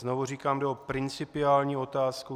Znovu říkám, jde o principiální otázku.